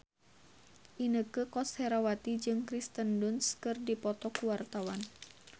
Inneke Koesherawati jeung Kirsten Dunst keur dipoto ku wartawan